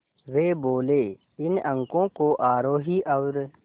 वे बोले इन अंकों को आरोही और